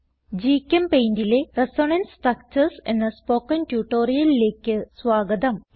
GChemPaintലെ resonance structures എന്ന spoken ട്യൂട്ടോറിയലിലേക്ക് സ്വാഗതം